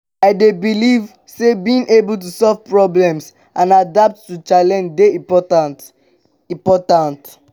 i dey believe say being able to solve problems and adapt to challenges dey important. important.